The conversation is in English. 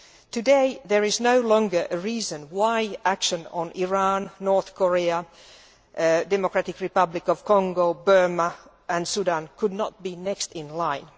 Today, there is no longer a reason why action on Iran, North Korea, the Democratic Republic of Congo, Burma and Sudan could not be next in line.